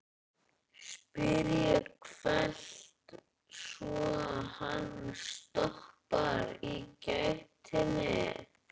spyr ég hvellt, svo hann stoppar í gættinni.